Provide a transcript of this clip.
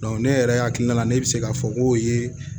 ne yɛrɛ hakilina ne bɛ se k'a fɔ ko o ye